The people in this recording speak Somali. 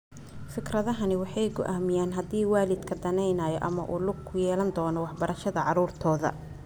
Fikradahani waxay go'aamiyaan haddii waalidku danaynayo ama uu ku lug yeelan doono waxbarashada carruurtooda.